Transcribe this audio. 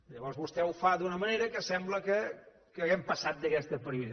llavors vostè ho fa d’una manera que sembla que hàgim passat d’aquesta prioritat